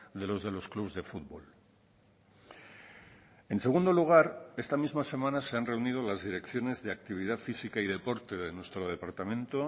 de los de los clubs de futbol en segundo lugar esta misma semana se han reunido las direcciones de actividad física y deporte de nuestro departamento